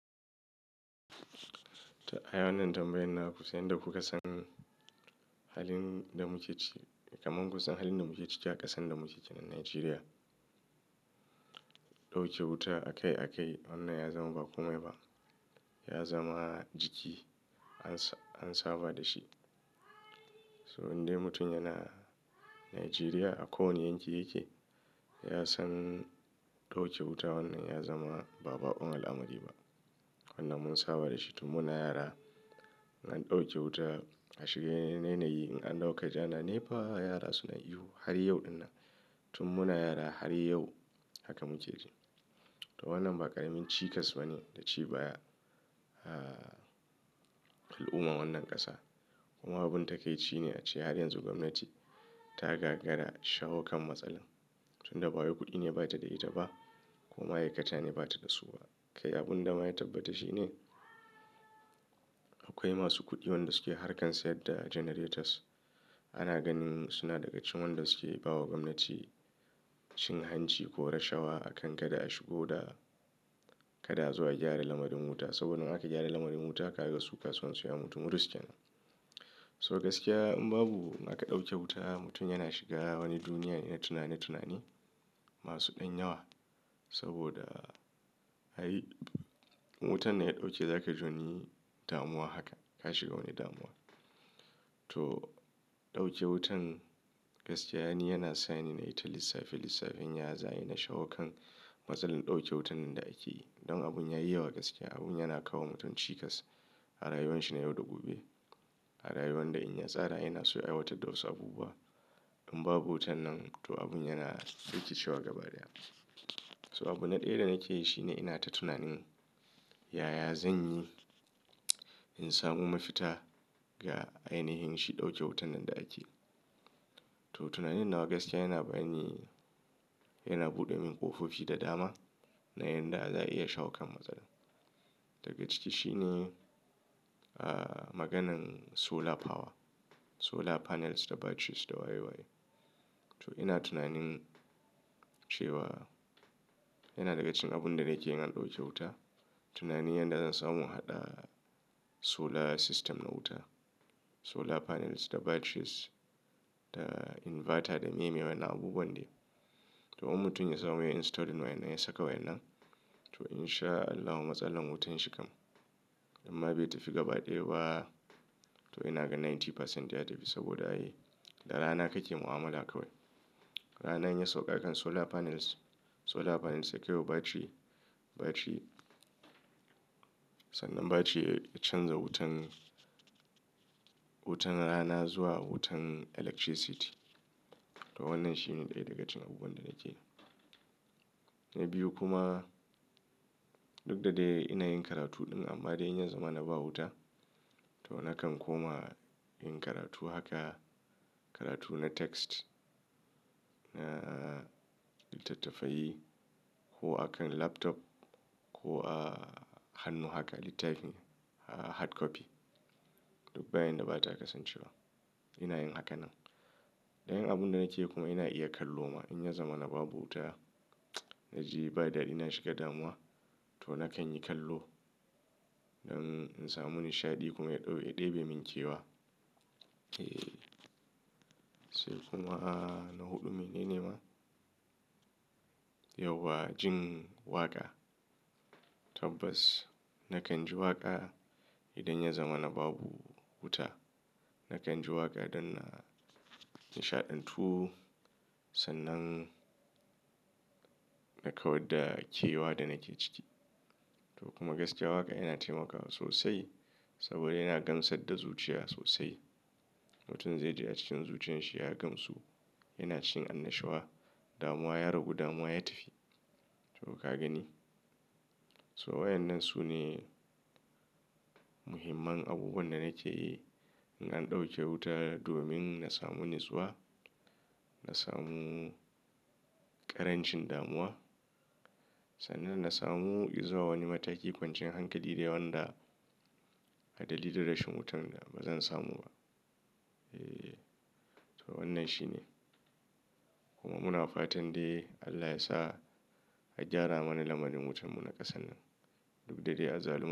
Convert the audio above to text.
To ayan nan tambayan na kusan yadda kuka san, halin da muke ciki, kamar kun san halin da muke ciki, cika kasan da muke ciki a Najeriya. Dauke wuta a kai a kai, wannan ya zama ba kome ba. Ya zama jiki an, an saba da shi. So indai mutum yana Najeriya, a ko wanne yankin yake, ya san dauke wuta wannan ya zama babakon amari ba. Wannan mun saba da shi tun muna yara, na ɗauke wuta a shiga yanayi na yi in an ɗauka ja na. Nepa yara suna ihu har yau din nan, tun muna yara har yau haka muke ciki. To wannan ba ƙaramin cikas ba ne da ci baya ah, al'ummar wannan ƙasa. Kuma abun takaici ne a ce har yanzu gwamnati, ta gagara shawo kan matsalar. Tun da ba waye kuɗi ne ba ta da ita ba. Ko ma'aikata ne ba ta da su ba. Kai abin da ma ya tabbata shi ne, akwai masu kuɗi wanda suke harkan sayar da generators. Ana ganin suna daga cikin wanda suke bawa gwamnati, cin hanci ko rashawa, a kan kada a shigo da kada zuwa gyara lamarin wuta. Saboda in aka gyara lamarin wuta, ka rage su kasuwan sayan mutum rusken. So gaskiya in babu aka ɗauke wuta mutum yana shiga wani duniya na tunani tunani, masu ɗan yawa. Saboda, har wutan da ya ɗauke za ka jo ni damuwa haka, ka shiga wani damuwa. To, dauke wutan, gaskiya ne yana sa ni na yi ta lissafi lissafin yaza yana shawo kan, matsalar dauke wutan da ake yi. Don abun yayi yawa gaskiya, abun yana kawo mutum cikas. A rayuwar shi na yau da gobe. A rayuwar da in ya tsara yana so ya aiwatar da wasu abubuwa. In babu wutan nan to abun yana rikicewa gaba daya. So abunda ɗaya da nake yi shi ne ina ta tunanin, yaya zan yi in samu mafita ga ainihin shi dauke wutan nan da ake yi. To tunanin nan gaskiya yana bani, yana buɗe min ƙofofi da dama, na yanda za a iya shawo kan matsalar. Daga ciki shi ne, ah maganan solar power, solar panels da batteries da waye waye. To ina tunanin, cewa yana daga cikin abunda nake yi in an ɗauke wuta. Tunani yana da zan samu haɗa, solar system na wuta, solar panels da batteries, da inverter da me mai wani abubuwan dai. To wani mutum ya samu ya install wani ya saka wannan. To in sha Allah matsalar wutan shi kam. Amma bai tafi gaba ɗaya ba. To ina ga ninety percent ya tafi saboda ayi, da rana kake mu'amala kawai. Rana yayi sauƙa kan solar panels, solar panels sakewa battery, battery, sannan battery ya canza wutan, wutan rana zuwa wutan electricity. To wannan shi ne ɗaya daga cikin abubuwan da nake yi. Na biyu kuma, duk da dai ina yin karatu ɗin amma dai in ya zama na ba wuta, to nakan koma yin karatu haka. Karatu na text, na littattafai ko a kan laptop, ko a hannu haka littafin ah hard copy. Duk bayan da bata kasance wa ina yin hakan nan. Dayan abunda nake yi kuma ina iya kallo ma in ya zama na babu wuta. Naji ba dadi na shiga damuwa, to nakan yi kallo don in samu nishaɗi kuma ya ɗau, ya ɗebe min kewa. Eh, sai kuma na huɗu mene ne ma? Yauwa jin waƙa. Tabbas, nakan ji waƙa idan ya zama na babu wuta. Nakan ji waƙa don na nishaɗantu, sannan nakan gwada kewa da nake ciki. To kuma gaskiya waƙa yana taimakawa sosai, saboda yana gamsar da zuciya sosai. Mutum zai je a cikin zuciyar shi ya gamsu, yana cin annashuwa, damuwa ya ragu damuwa ya tafi. To ka gani? So waɗannan su ne, muhimman abubuwan da nake yi, in an ɗauke wuta domin na samu niswa, na samu ƙarancin damuwa sannan na samu izuwa wani mataki kwancin hankali da wanda, hadali da rashin wutan da bazan samu ba. Eh, to wannan shi ne. Kuma muna fatan dai Allah ya sa, a gyara mana lamarin wutan mu na ƙasar nan, duk da dai a zalun.